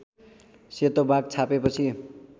सेतो बाघ छापेपछि